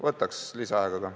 Võtaks lisaaega ka.